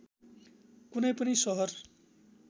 कुनै पनि सहर